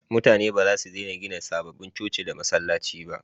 Mutane ba za su dena gina sababbin coci da masallaci ba